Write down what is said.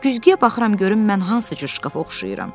Güzgüyə baxıram görüm mən hansı cür şkafa oxşayıram.